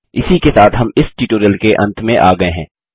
इसी के साथ हम इस ट्यूटोरियल के अंत में आ गये हैं